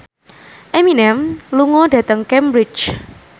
Eminem lunga dhateng Cambridge